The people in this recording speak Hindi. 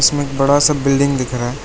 इसमें एक बड़ा सा बिल्डिंग दिख रहा है।